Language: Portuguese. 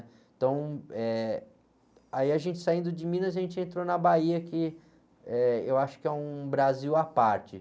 Então, eh, aí a gente saindo de Minas, a gente entrou na Bahia, que, eh, eu acho que é um Brasil à parte.